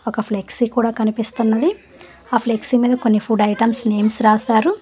ఒక ఫ్లెక్సీ కూడ కనిపిస్తున్నది ఆ ఫ్లెక్సీ మీద కొన్ని ఫుడ్ ఐటమ్స్ నేమ్స్ రాసారు.